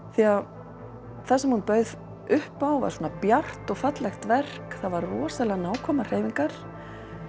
því að það sem hún bauð upp á var svona bjart og fallegt verk það voru rosalega nákvæmar hreyfingar